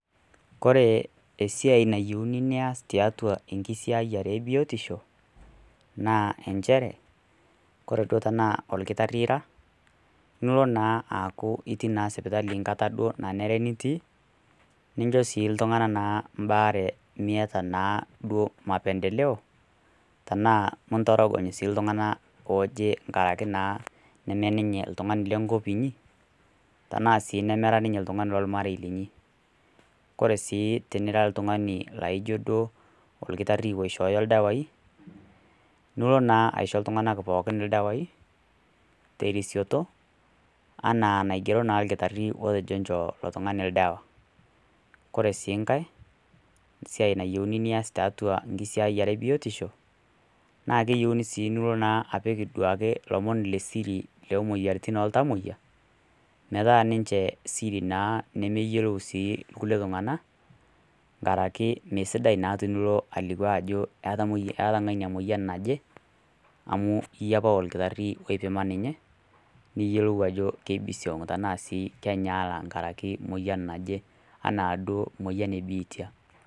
Kore esiai nayieuni nias tiatua enkisiayare e biotisho naa enchere, kore duo tanaa olkitari ira, nilo naa aaku iyii sipitali enkata duo naa enyare nitii, nincho naa sii iltung'ana mbaare miata naa duo mapendeleoo tanaa intorogony sii iltung'ana ooje tanaa nemee lenkop inyi, tanaa sii nemera ninye olomairei linyi. Kore sii tinira oltung'ani laijo ira olkitari oishooyo ildawai nilo naa aisho iltung'ana ildawai, terisioto anaa enaigero naa olkitari otejo enjoo ilo tung'ani oldawa. Kore sii nkai siai nayiouni nais tiatua enkisiayiare e biotisho, naa keyouni naa nilo apik siake ilomon le siri o moyiaritin oo ltamoyia, metaa ninche naa siri nemeyiolo sii kulie tung'ana, ankara sii e mee esidai naa tinilo alikio ajo eata ng'ania emoyian naje, amu iyie opa olkitari oipimo ninye, niyolou ajo keibisiong' tanaa sii kenyaaya enkaraki emoyian naji anaa duo emoyian e biitia.